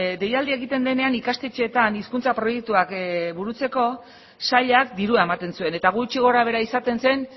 deialdia egiten denean ikastetxeetan hizkuntza proiektuak burutzeko sailak dirua ematen zuen eta gutxi gorabehera izaten zen